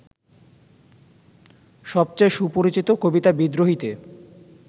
সবচেয়ে সুপরিচিত কবিতা বিদ্রোহীতে